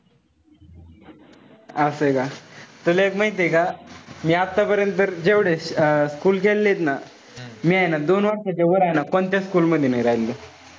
असय का. तुला एक माहितीय का? मी आतापर्यंत जेवढे अं school केलेलेयत ना, मी हाये ना दोन वर्षाच्या वर हाये ना कोणत्याच school मध्ये नाई राहिलो.